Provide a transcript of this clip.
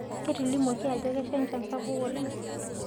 Ketilimuaki ajo kesha nchan sapuk oleng